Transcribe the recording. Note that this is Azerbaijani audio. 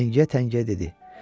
Təngiyə-təngiyə dedi.